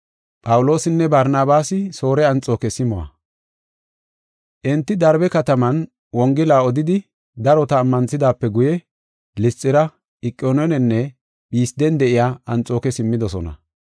Enti Darbe kataman Wongela odidi darota ammanthidaape guye Lisxira, Iqoniyoonenne Phisden de7iya Anxooke simmidosona.